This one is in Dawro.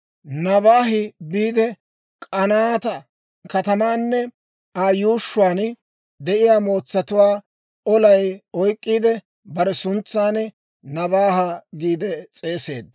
Nobaahi biide, K'anaata katamaanne Aa yuushshuwaan de'iyaa heeratuwaa olan oyk'k'iide, bare suntsan Nobaaha giide s'eeseedda.